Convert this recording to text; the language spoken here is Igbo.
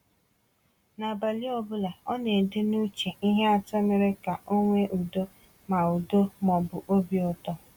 N’abalị ọ bụla, ọ na-ede n’uche ihe atọ mere ka o nwee udo ma udo ma ọ bụ obi ụtọ.